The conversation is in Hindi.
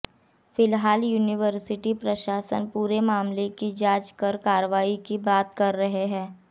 फिलहाल यूनिवर्सिटी प्रशासन पूरे मामले की जांच कर कार्रवाई की बात कर रहा है